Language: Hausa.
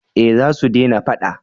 eh za su dena fada